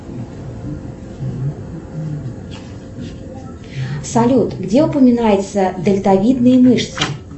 салют где упоминаются дельтовидные мышцы